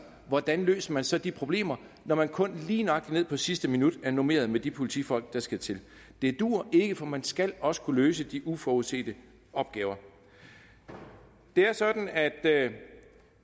hvordan løser man så de problemer når man kun lige nøjagtig ned på sidste minut er normeret med de politifolk der skal til det duer ikke for man skal også kunne løse de uforudsete opgaver det er sådan at